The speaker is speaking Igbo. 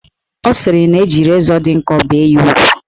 Ọ sịrị na-eji rezọ dị nkọ bee ya ugwu